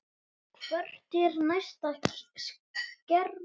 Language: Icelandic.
Hvert er næsta skrefið?